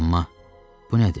Amma bu nədir?